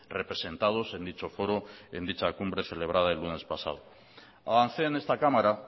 representados en dicho foro en dicha cumbre celebrada el lunes pasado avancé en esta cámara